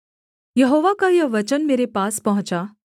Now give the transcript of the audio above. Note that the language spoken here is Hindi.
यहोवा का यह वचन मेरे पास पहुँचा